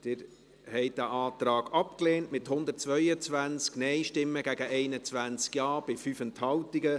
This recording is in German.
Sie haben den Antrag abgelehnt, mit 122 Nein- gegen 21 Ja-Stimmen bei 5 Enthaltungen.